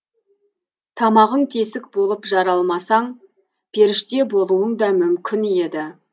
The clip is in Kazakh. тамағың тесік болып жаралмасаң періште болуың да мүмкін еді